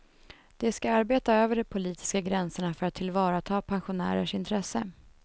De ska arbeta över de politiska gränserna för att tillvarata pensionärers intressen.